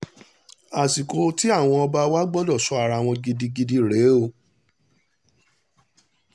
àsìkò tí àwọn ọba wà gbọ́dọ̀ sọ ara wọn gidigidi rèé o